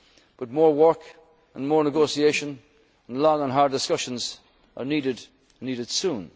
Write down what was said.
Member States. But more work and more negotiation, and long and hard discussions, are needed,